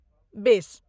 बेस।